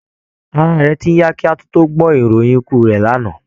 Ara rẹ̀ ti ń yá kí á tún tó gbọ́ ìròyìn ikú rẹ̀ lánàá